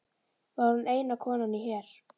Væri hún eina konan í her